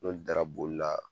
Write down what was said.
N'olu dara boli la